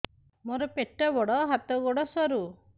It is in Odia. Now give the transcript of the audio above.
ମୋର ପେଟ ବଡ ହାତ ଗୋଡ ସରୁ